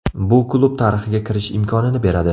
Bu klub tarixiga kirish imkonini beradi.